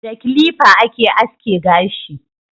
Da kilifa ake aske gashi